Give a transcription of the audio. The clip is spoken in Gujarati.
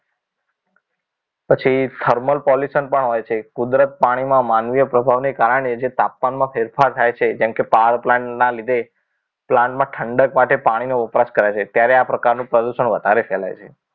પછી thermal pollution પણ હોય છે કુદરત પાણીમાં માનવીય પ્રભાવને કારણે જે તાપમાન માં જે ફેરફાર થાય છે જેમ કે power plant ના લીધે plant માં ઠંડક માટે પાણીનો વપરાશ કરાય છે ત્યારે આ પ્રકારનું પ્રદૂષણ વધારે ફેલાય છે